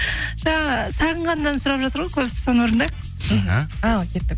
жаңа сағынған әнін сұрап жатыр ғой көбісі соны орындайық іхі ал кеттік